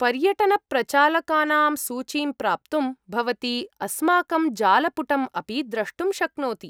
पर्यटनप्रचालकानां सूचीं प्राप्तुं भवती अस्माकं जालपुटम् अपि द्रष्टुं शक्नोति।